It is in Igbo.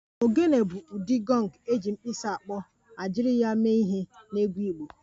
Ogene bụ ụdị gọng eji mkpisi akpọ ma jiri ya mee ihe n'egwu Igbo